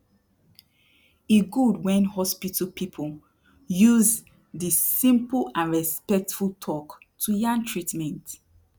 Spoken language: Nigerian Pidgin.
e gud wen hospital people use dey simple and respectful talk to yan treatment